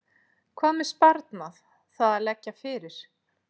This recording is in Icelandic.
En hvað með sparnað, það að leggja fyrir?